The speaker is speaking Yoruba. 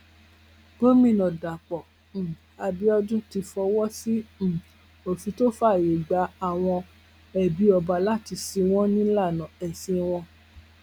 gomina dapò um abiodun ti fọwọ sí um òfin tó fààyè gba àwọn ẹbí ọba láti sìn wọn nílànà ẹsìn wọn